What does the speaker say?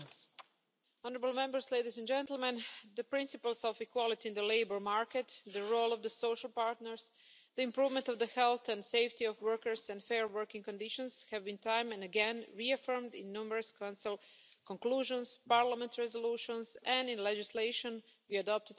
Madam President, the principles of equality in the labour market, the role of social partners, the improvement of the health and safety of workers and fair working conditions have been time and again reaffirmed in numerous Council conclusions, Parliament resolutions and in legislation we adopt together.